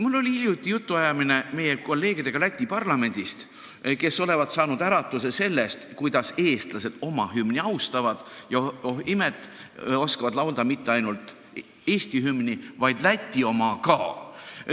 Mul oli hiljuti jutuajamine kolleegidega Läti parlamendist, kes olevat saanud äratuse sellest, kuidas eestlased oma hümni austavad, ja oh imet, oskavad laulda mitte ainult Eesti hümni, vaid Läti oma ka.